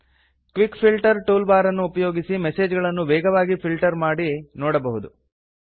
quick filter tool bar ಅನ್ನು ಉಪಯೋಗಿಸಿ message ಗಳನ್ನು ವೇಗವಾಗಿ ಫಿಲ್ಟರ್ ಮಾಡಿ ನೋಡಬಹುದು